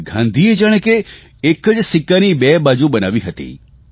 ગાંધીએ જાણે કે એક સિક્કાની બે બાજુ બનાવી દીધી હતી